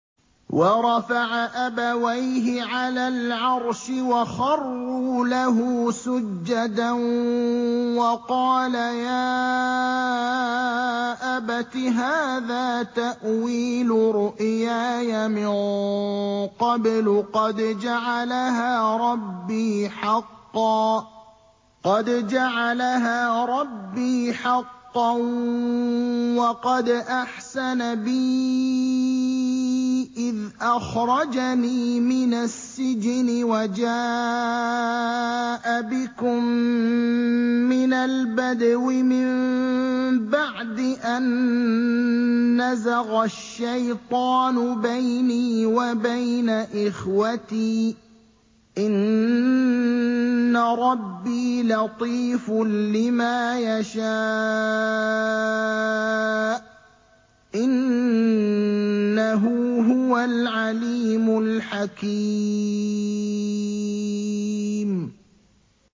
وَرَفَعَ أَبَوَيْهِ عَلَى الْعَرْشِ وَخَرُّوا لَهُ سُجَّدًا ۖ وَقَالَ يَا أَبَتِ هَٰذَا تَأْوِيلُ رُؤْيَايَ مِن قَبْلُ قَدْ جَعَلَهَا رَبِّي حَقًّا ۖ وَقَدْ أَحْسَنَ بِي إِذْ أَخْرَجَنِي مِنَ السِّجْنِ وَجَاءَ بِكُم مِّنَ الْبَدْوِ مِن بَعْدِ أَن نَّزَغَ الشَّيْطَانُ بَيْنِي وَبَيْنَ إِخْوَتِي ۚ إِنَّ رَبِّي لَطِيفٌ لِّمَا يَشَاءُ ۚ إِنَّهُ هُوَ الْعَلِيمُ الْحَكِيمُ